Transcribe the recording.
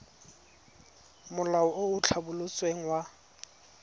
molao o o tlhabolotsweng wa